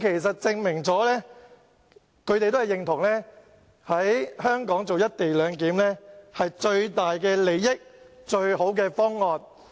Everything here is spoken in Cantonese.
這證明他們也認同，在香港實施"一地兩檢"將可提供最大利益，亦是最佳方案。